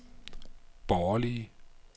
borgerlige